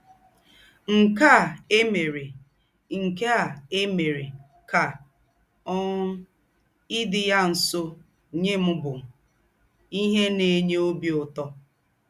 Nkè à èmèrè Nkè à èmèrè kà um ídí̄ yá nsọ́ nyẹ́ m bụ̀ íhè nà-ènýẹ́ ọ́bì ứtọ̀.